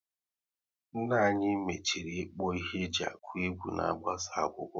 Nna anyị machiri ikpo ihe e ji akụ egwu na-agbasa akwụkwọ